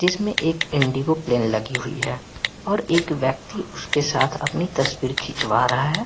जिसमे एक Indigo plane लगी हुई है और एक व्यक्ति उसके साथ अपनी तस्वीर खीचवा रहा हैं।